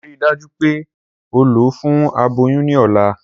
Rii daju pe o lọ fun aboyun ni ọla!